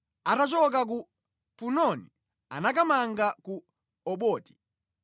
Atachoka ku Punoni anakamanga ku Oboti.